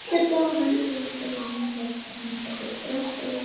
Andlitið á henni hrundi og hann hélt að hún myndi bresta í grát.